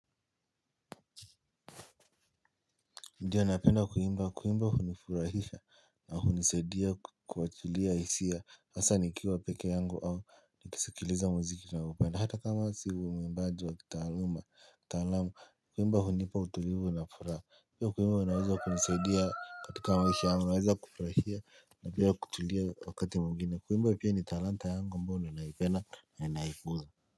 Ndiyo napenda kuimba kuimba hunifurahisha na hunisaidia kuwachilia hisia asa nikiwa peke yangu au ni kisikiliza muziki naupenda hata kama sio uwimbaju wa kitaaluma talamu kuimba hunipa utulivu na furaha pia kuimba unaweza kunisaidia katika maisha yangu naweza kufurahia na pia kutulia wakati mwingine kuimba pia ni talanta yangu ambao ninaipena na naikuza.